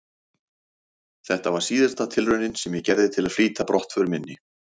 Þetta var síðasta tilraunin sem ég gerði til að flýta brottför minni.